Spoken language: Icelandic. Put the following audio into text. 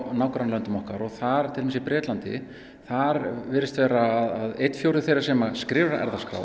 nágrannalöndin okkar og þar til dæmis í Bretlandi þar virðist vera að einn fjórði þeirra sem skrifar erfðaskrá